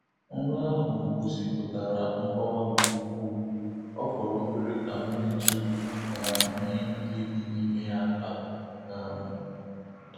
Nrọ ahụ gosipụtara nkọwa nke ukwu, o fọrọ obere ka m metụ um ihe nile dị n’ime ya aka. um